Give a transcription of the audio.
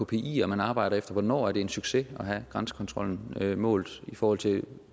kpier man arbejder efter hvornår er det en succes at have grænsekontrollen målt i forhold til